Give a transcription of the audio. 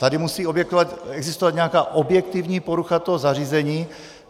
Tady musí existovat nějaká objektivní porucha toho zařízení.